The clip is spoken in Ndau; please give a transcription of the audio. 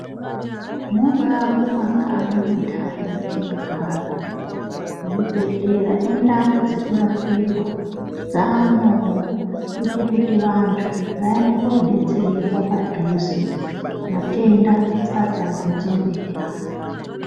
Munga mumakanyi muntani mwetinogara, zvibhehlera nendau dzekurapirwa dzamwowo kuite kuti vantu vaende kodetserwa padhuze matenda asati agotsombera.